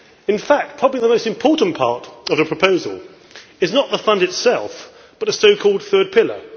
In fact probably the most important part of the proposal is not the Fund itself but a so called third pillar.